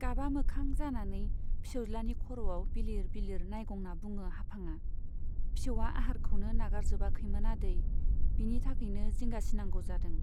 गाबा मोखां जानानै फिसौज्लानि खर'वाव बिलिर बिलिर नाइगंना बुङो हाफांआ, फिसौवा आहारखौनो नागारजोबाखैमोन आदै , बिनि थाखायनो जिंगासिनागौ जादों।